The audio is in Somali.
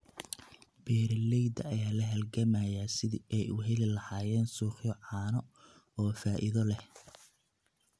Beeralayda ayaa la halgamaya sidii ay u heli lahaayeen suuqyo caano oo faa'iido leh.